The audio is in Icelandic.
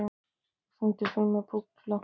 Robert, syngdu fyrir mig „Búkalú“.